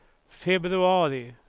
februari